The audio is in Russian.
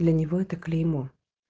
для него это клеймо